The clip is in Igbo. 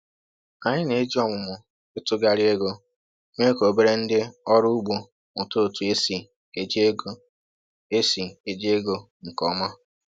Anyị na-eji ọmụmụ ịtụgharị ego mee ka obere ndị ọrụ ugbo mụta otu esi eji ego esi eji ego nke ọma.